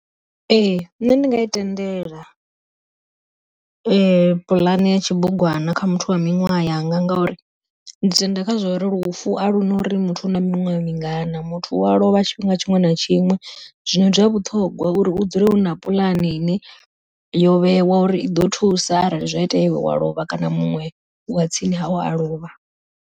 Ee nṋe ndinga i tendela puḽane ya tshibugwana kha muthu wa miṅwaha yanga ngauri, ndi tenda kha zwa uri lufu a luna uri muthu na miṅwaha mingana muthu u wa lovha tshifhinga tshiṅwe na tshiṅwe, zwino ndi zwa vhuṱhogwa uri u dzula hu na puḽane ine yo vhewa uri i ḓo thusa arali zwa itea wa lovha kana muṅwe wa tsini hau a lovha.